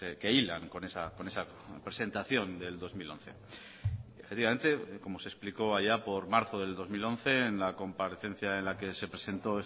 que hilan con esa presentación del dos mil once efectivamente como se explicó allá por marzo del dos mil once en la comparecencia en la que se presentó